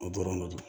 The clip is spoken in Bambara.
O dɔrɔn de do